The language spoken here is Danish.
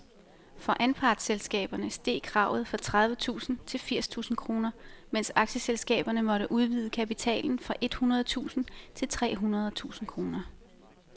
For anpartsselskaberne steg kravet fra tredive tusind til firs tusind kroner, mens aktieselskaberne måtte udvide kapitalen fra et hundrede tusind til tre hundrede tusind kroner.